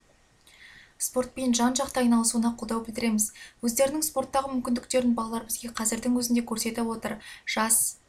спортпен жан-жақты айналысуына қолдау білдіреміз өздерінің спорттағы мүмкіндіктерін балалар бізге қазірдің өзінде көрсетіп отыр жас